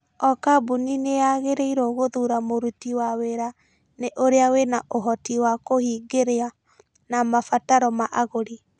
O kambuni nĩ yagĩrĩirwo guthura mũritũ wa wĩra nĩ ũrĩa wĩna ũhoti wa kũhingĩria na mabataro ma agũri.